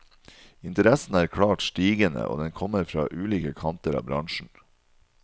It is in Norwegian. Interessen er klart stigende, og den kommer fra ulike kanter av bransjen.